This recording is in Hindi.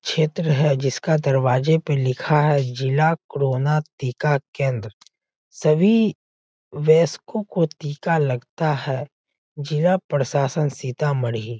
क्षेत्र है जिसका दरवाजे पर लिखा है जिला कोरोना टिका केंद्र सभी वयस्कों को टिका लगता है जिला प्रशासन सीतामढ़ी।